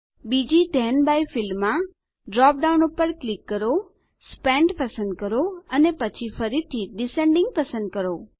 બીજી then by ફિલ્ડમાં drop down પર ક્લિક કરો સ્પેન્ટ પસંદ કરો અને પછી ફરીથી ડિસેન્ડિંગ પસંદ કરો